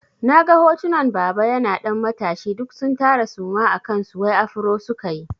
Na ga hotunan baba yana ɗan matashi duk sun tara suma a kansu wai afro sukayi.